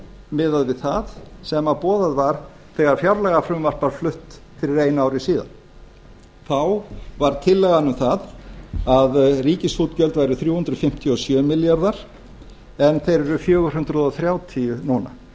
miðað við það sem boðað var þegar fjárlagafrumvarp var flutt fyrir einu ári síðan þá var tillagan um það að ríkisútgjöld væru þrjú hundruð fimmtíu og sjö milljarðar en þeir eru fjögur hundruð þrjátíu núna